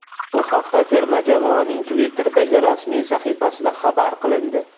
Bu haqda terma jamoaning Twitter’dagi rasmiy sahifasida xabar qilindi.